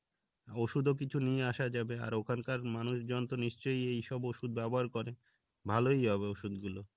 ওষুধও কিছু নিয়ে আসা যাবে আর ওখানকার মানুষজন তো নিশ্চয় এইসব ওষুধ ব্যবহার করে ভালোই হবে ওষুধ গুলো